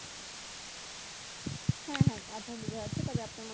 হ্যাঁ হ্যাঁ আপনার বোঝা যাচ্ছে তবে আপনার